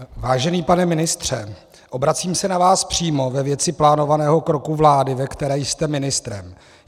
Vážený pane ministře, obracím se na vás přímo ve věci plánovaného kroku vlády, ve které jste ministrem.